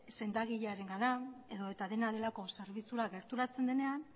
sendagilearengana edo eta dena delako zerbitzura gerturatzen denean